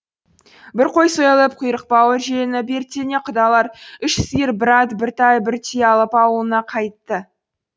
бір қой сойылып құйрық бауыр желініп ертеңіне құдалар үш сиыр бір ат бір тай бір түйе алып ауылына қайтты